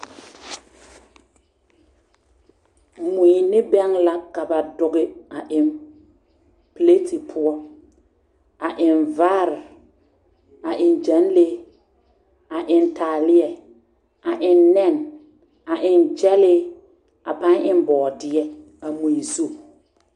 Mui ne bɛg la ka ba dɔge a eŋ pileti poɔ a eŋ vaare a eŋ gaŋlee a eŋ taaleɛ a eŋ nɛn a eŋ gyɛlii a paŋ eŋ bɔɔdeɛ a mui zu.